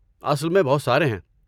اصل میں، بہت سارے ہیں۔